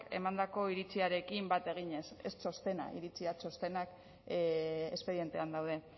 emandako iritziarekin bat eginez ez txostena iritzi txostenak espedientean daude